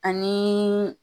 Ani